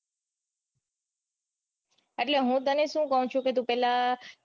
એટલે હું તને સુ કૌ છું કે તું પેલા